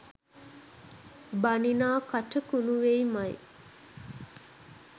බනිනා කට කුණු වෙයි මයි